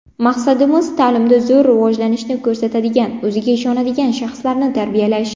Maqsadimiz ta’limda zo‘r rivojlanishni ko‘rsatadigan, o‘ziga ishonadigan shaxslarni tarbiyalash.